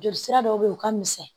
Joli sira dɔ bɛ ye o ka misɛn